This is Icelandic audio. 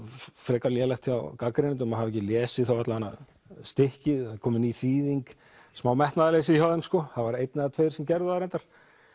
frekar lélegt hjá gagnrýnendum að hafa ekki lesið alla vegana stykkið það er komin ný þýðing smá metnaðarleysi hjá þeim það voru einn eða tveir sem gerðu að reyndar